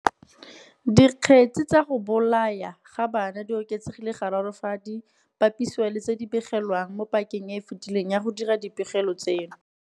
Dikgetse tsa go bolawa ga bana di oketsegile gararo fadi bapisiwa le tse di begilweng mo pakeng e e fetileng ya go dira dipegelo tseno.